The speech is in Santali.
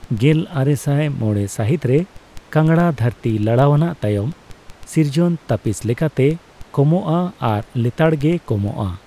ᱜᱮᱞᱟᱨᱮᱥᱟᱭ ᱢᱚᱲᱮ ᱥᱟᱹᱦᱤᱛ ᱨᱮ ᱠᱟᱝᱲᱟ ᱫᱷᱟᱹᱨᱛᱤ ᱞᱟᱲᱟᱣᱱᱟ ᱛᱟᱭᱚᱢ ᱥᱤᱨᱡᱟᱹᱱ ᱛᱟᱹᱯᱤᱥ ᱞᱮᱠᱟᱞᱛᱮ ᱠᱚᱢᱚᱜᱼᱟ ᱟᱨ ᱞᱮᱛᱟᱲᱜᱮ ᱠᱚᱢᱚᱜᱼᱟ ᱾